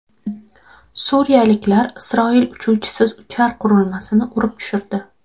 Suriyaliklar Isroil uchuvchisiz uchar qurilmasini urib tushirdi.